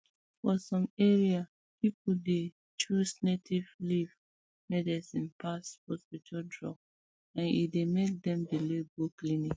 for some areas people dey choose native leaf medicine pass hospital drug and e dey make dem delay go clinic